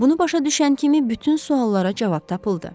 Bunu başa düşən kimi bütün suallara cavab tapıldı.